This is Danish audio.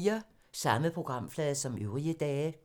Samme programflade som øvrige dage